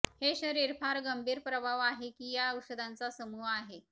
हे शरीर फार गंभीर प्रभाव आहे की या औषधांचा समुह आहे